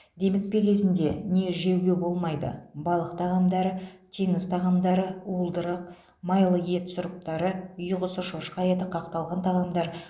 демікпе кезінде не жеуге болмайды балық тағамдары теңіз тағамдары уылдырық майлы ет сұрыптары үй құсы шошқа еті қақталған тағамдар